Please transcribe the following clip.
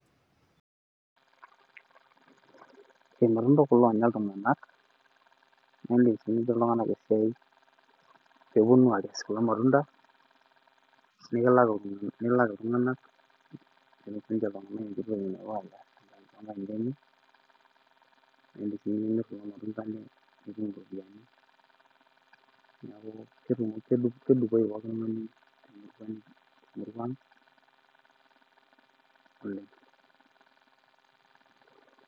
irmantunda kulo oonya ltunganak, nepik sii iltunganak esiia, pee epuonu aakes kulo matunda. nilak iltunganak, netum sii ninche ltunganak enkiti oki napuo aanya, nimir sii kulo matunda nitum iropiyiani, neeku kedupoyu pooki tungani.